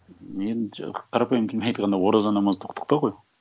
енді қарапайым тілмен айтқанда ораза намаз тоқтықта ғой